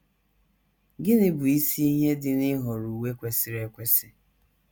Gịnị Bụ Isi Ihe Dị n’Ịhọrọ Uwe Kwesịrị Ekwesị?